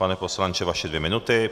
Pane poslanče, vaše dvě minuty.